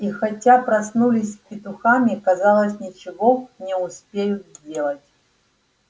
и хотя проснулись с петухами казалось ничего не успеют сделать